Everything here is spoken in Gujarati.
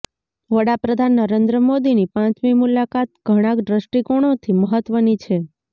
વડાપ્રધાન નરેન્દ્ર મોદીની પાંચમી મુલાકાત ઘણા દ્રષ્ટિકોણોથી મહત્વની છે